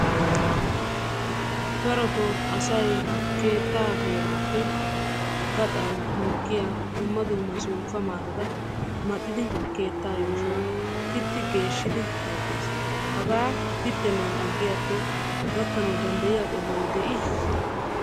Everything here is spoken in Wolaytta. Darotoo asay keettaa heeraappe gaxan mokkiya dumma dumma suuppa maatata maxidi keettaa yuushuwa. pitti geeshshidi wottees. Hagaa pittennan aggiyakko gakkanawu danddayiya qohoy de'iishsha?